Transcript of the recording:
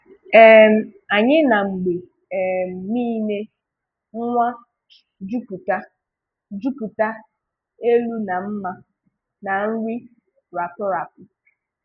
um “Anyị na-mgbe um niile nwàà jupụta jupụta elu na mmà na nri rátù rátù.